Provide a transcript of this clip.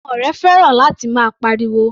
Ọmọ rẹ̀ fẹ́ràn láti máa pa ariwo.